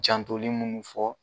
Jantoli munnu fɔ